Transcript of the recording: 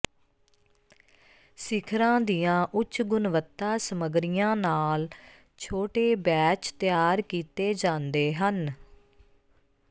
ਸਿਖਰਾਂ ਦੀਆਂ ਉੱਚ ਗੁਣਵੱਤਾ ਸਮੱਗਰੀਆਂ ਨਾਲ ਛੋਟੇ ਬੈਚ ਤਿਆਰ ਕੀਤੇ ਜਾਂਦੇ ਹਨ